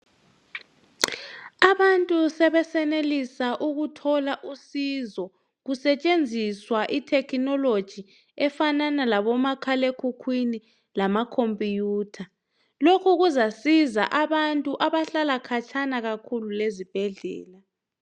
Abantu sebesenelisa ukuthola usizo kusetshenziswa ithekhinoloji efanana labomakhale khukhwini lamakhompuyutha. Lokhu kuzasiza abantu abahlala khatshana kakhulu lezibhedlela.